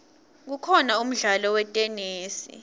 kukhona umdlalo wetenesi